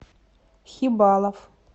хибалов